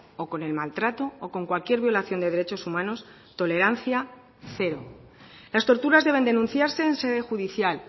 o con el maltrato o con cualquier violación de derechos humanos tolerancia cero las torturas deben denunciarse en sede judicial